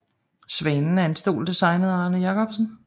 Svanen er en stol designet af Arne Jacobsen